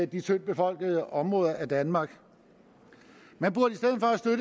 de tyndtbefolkede områder af danmark man burde